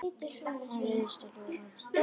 Hann réðst á Dóra.